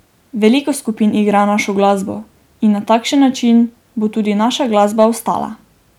Veliko skupin igra našo glasbo in na takšen način bo tudi naša glasba ostala.